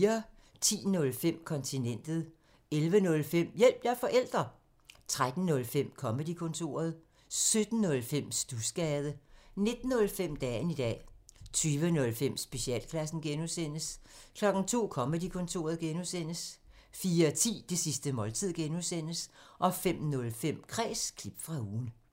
10:05: Kontinentet 11:05: Hjælp – jeg er forælder! 13:05: Comedy-kontoret 17:05: Studsgade 19:05: Dagen i dag 20:05: Specialklassen (G) 02:00: Comedy-Kontoret (G) 04:10: Det sidste måltid (G) 05:05: Kræs – klip fra ugen